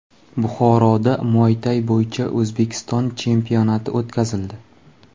Buxoroda muaytay bo‘yicha O‘zbekiston chempionati o‘tkazildi.